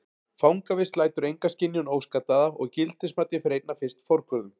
Fangavist lætur enga skynjun óskaddaða og gildismatið fer einna fyrst forgörðum.